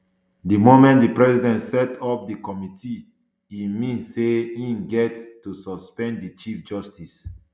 di moment di president set up di committee e mean say im get to suspend di chief justice